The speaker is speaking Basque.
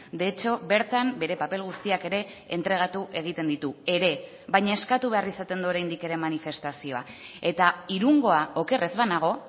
de hecho bertan bere paper guztiak ere entregatu egiten ditu ere baina eskatu behar izaten du oraindik ere manifestazioa eta irungoa oker ez banago